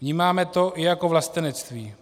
Vnímáme to i jako vlastenectví.